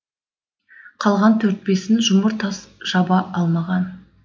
қалған төрт бесін жұмыр тас жаба алмаған